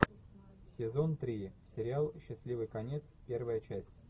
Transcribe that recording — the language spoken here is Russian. сезон три сериал счастливый конец первая часть